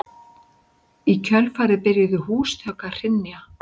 Í kjölfarið byrjuðu húsþök að hrynja